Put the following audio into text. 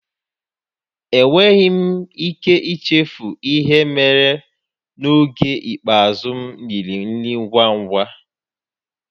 Enweghị m ike ichefu ihe mere m n'oge ikpeazụ m riri nri ngwa ngwa